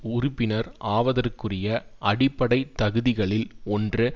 உறுப்பினர் ஆவதற்குரிய அடிப்படை தகுதிகளில் ஒன்று